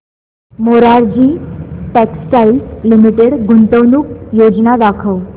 Morarji textiles limited गुंतवणूक योजना दाखव